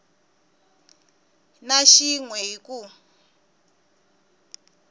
na xin we hi ku